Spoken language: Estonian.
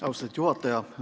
Austatud juhataja!